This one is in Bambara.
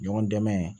Ɲɔgɔn dɛmɛ